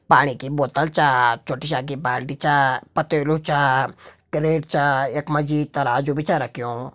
पाणि की बोत्तल चा छोटी शा की बाल्टी चा पतेलु चा क्रेट चा। यक मजी तराजू बि च रख्युं।